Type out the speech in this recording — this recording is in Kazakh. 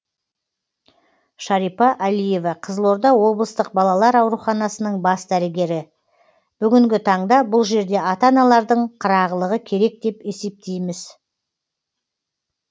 шарипа әлиева қызылорда облыстық балалар ауруханасының бас дәрігері бүгінгі таңда бұл жерде ата аналардың қырағылығы керек деп есептейміз